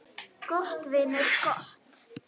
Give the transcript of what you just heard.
Gott, vinur, gott.